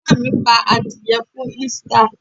Ìyá mi pa adìẹ fún Easter.